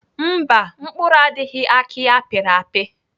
Mba, mkpụrụ adịghị aki apịrị apị.